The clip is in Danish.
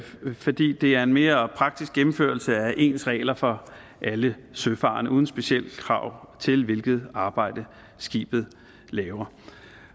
fordi det er en mere praktisk gennemførelse af ens regler for alle søfarende uden specielle krav til hvilket arbejde skibet laver